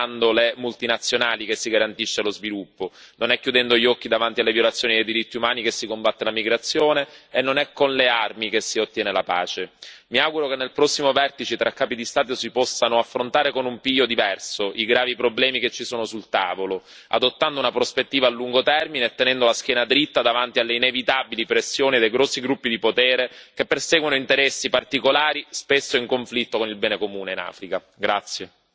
Dobbiamo dirlo chiaramente che non è foraggiando le multinazionali che si garantisce lo sviluppo, non è chiudendo gli occhi davanti alle violazioni dei diritti umani che si combatte la migrazione e non è con le armi che si ottiene la pace. Mi auguro che nel prossimo vertice tra capi di Stato si possano affrontare con un piglio diverso i gravi problemi che ci sono sul tavolo, adottando una prospettiva a lungo termine e tenendo la schiena dritta davanti alle inevitabili pressioni dei grossi gruppi di potere che perseguono interessi particolari, spesso in conflitto con il bene comune in Africa.